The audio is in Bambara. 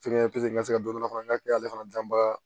n ka se ka don dɔ fana n ka kɛ ale fana danba